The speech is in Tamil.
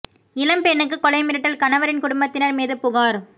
இளம் பெண்ணுக்கு கொலை மிரட்டல் கணவரின் குடும்பத்தினர் மீது புகார்